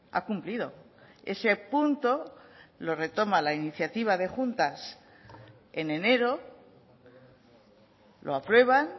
ha cumplido ese punto lo retoma la iniciativa de juntas en enero lo aprueban